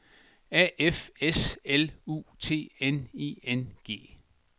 A F S L U T N I N G